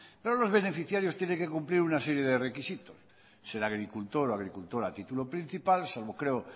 pero los beneficiarios tienen que cumplir una serie de requisitos ser agricultor o agricultora a título principal salvo creo